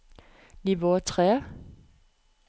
nivå tre